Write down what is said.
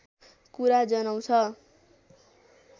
कुरा जनाउँछ